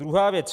Druhá věc.